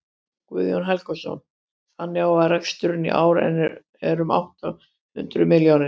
Guðjón Helgason: Þannig að reksturinn í ár er um átta hundruð milljónir?